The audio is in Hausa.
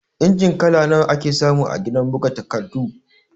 Injin kala nawa ake samu a gidan buga takardu?